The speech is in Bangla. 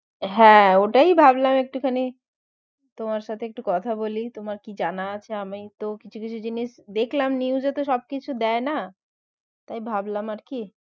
হ্যাঁ ওটাই ভাবলাম একটুখানি তোমার সাথে একটু কথা বলি তোমার কি জানা আছে আমি তো কিছু কিছু জিনিস দেখলাম news এ তো সব কিছু দেয়না তাই ভাবলাম আরকি